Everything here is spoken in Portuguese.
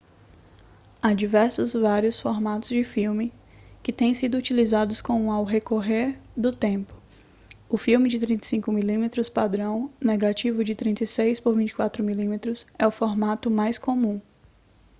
há diversos vários formatos de filme que têm sido utilizados com ao recorrer do tempo. o filme de 35 mm padrão negativo de 36 por 24 mm é o formato mais comum